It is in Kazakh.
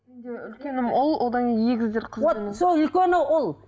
үлкенім ұл одан кейін егіздер вот сол үлкені ұл